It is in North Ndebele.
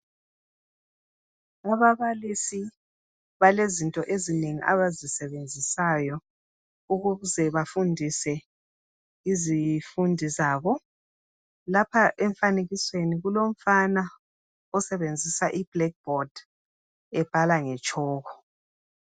Ababalisi balezinto ezinengi abazisebenzisayo ukuze bafudise izifundo zabo. Lapha emfanekisweni kulomfana osebenzisa iblackboard ebhala ngetshoko.